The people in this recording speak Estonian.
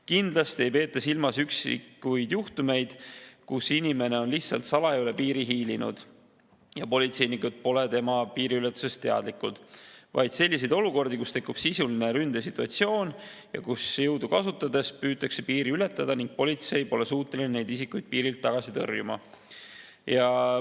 Kindlasti ei peeta silmas üksikuid juhtumeid, kus inimene on lihtsalt salaja üle piiri hiilinud ja politseinikud pole tema piiriületusest teadlikud, vaid selliseid olukordi, kus tekib sisuline ründesituatsioon, kus jõudu kasutades püütakse piiri ületada ning politsei pole suuteline neid isikuid piirilt tagasi tõrjuma.